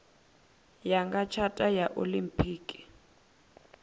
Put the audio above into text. ya nga tshata ya olimpiki